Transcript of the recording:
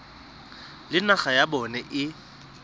le naga ya bona e